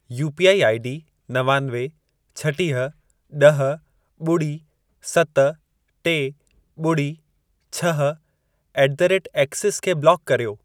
UPI ID नवानवे, छटीह, ॾह, ॿुड़ी, सत, टे, ॿुड़ी, छह ऍट द रेट एक्सिस खे ब्लॉक कर्यो।